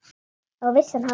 Á vissan hátt.